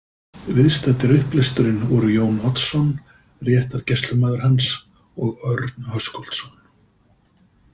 Viðstaddir upplesturinn voru Jón Oddsson, réttargæslumaður hans, og Örn Höskuldsson.